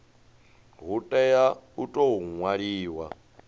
hu tea u tou ṅwaliwa